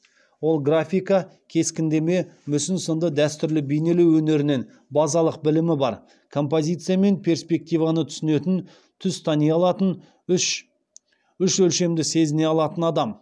ол графика кескіндеме мүсін сынды дәстүрлі бейнелеу өнерінен базалық білімі бар композиция мен перспективаны түсінетін түс тани алатын үш өлшемді сезіне алатын адам